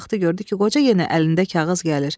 Vəzir baxdı gördü ki, qoca yenə əlində kağız gəlir.